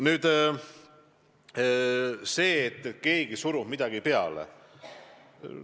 Nüüd sellest, et keegi surub midagi peale.